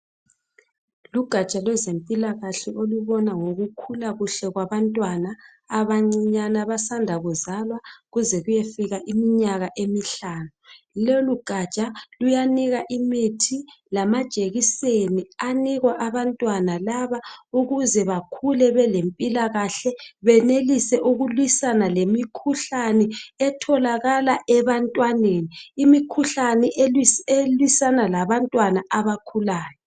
Lugatsha lwezempilakahle olubona ngokukhula kuhle kwabantwana abancinyane abasanda kuzalwa kuze kuyefika iminyaka emihlanu. Lolugatsha luyanika imithi lamajekiseni anikwa abantwana laba ukuze bekhule belempilakahle benelise ukulwisana lemikhuhlane etholakala ebantwaneni, imikhuhlane elwisana labantwana abasakhulayo.